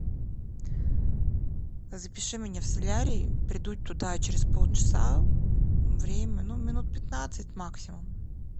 запиши меня в солярий приду туда через полчаса время ну минут пятнадцать максимум